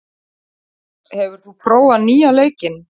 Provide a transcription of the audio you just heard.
Nikolas, hefur þú prófað nýja leikinn?